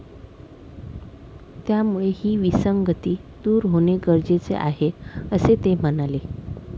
त्यामुळे ही विसंगती दूर होणे गरजेचे आहे, असे ते म्हणाले.